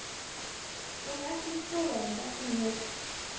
Hún er ekki í skólanum, bætti hún við.